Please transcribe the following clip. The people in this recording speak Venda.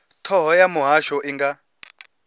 thoho ya muhasho i nga